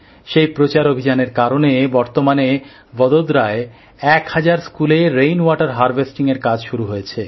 সেই প্রচার অভিযানের কারণে বর্তমানে ভোদোদরায় এক হাজার স্কুলে বৃষ্টির জল সঞ্চয়ের কাজ শুরু হয়েছে